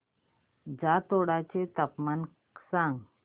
जातोडा चे तापमान सांग